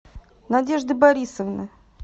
надежды борисовны